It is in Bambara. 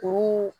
K'u